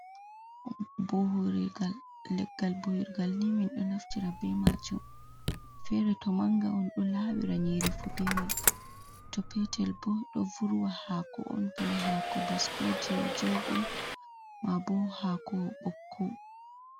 Bowirlgal. leggal bowirgal ni mindo naftira be macum, fere to manga on do lawira nyeri fu be mai. To petel bo do vurwa hako on, bana hako baskoje jordum, ma bo hako bokko.